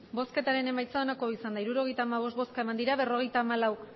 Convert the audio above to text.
emandako botoak hirurogeita hamabost bai berrogeita hamalau